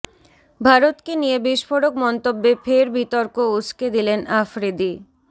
ভারতকে নিয়ে বিস্ফোরক মন্তব্যে ফের বিতর্ক উসকে দিলেন আফ্রিদি